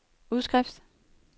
udskrift